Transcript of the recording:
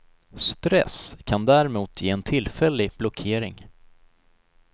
Stress kan däremot ge en tillfällig blockering.